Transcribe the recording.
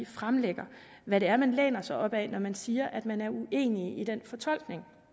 fremlægger hvad det er man læner sig op ad når man siger at man er uenig i den fortolkning